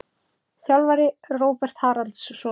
Þjálfari: Róbert Haraldsson.